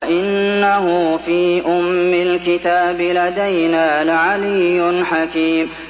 وَإِنَّهُ فِي أُمِّ الْكِتَابِ لَدَيْنَا لَعَلِيٌّ حَكِيمٌ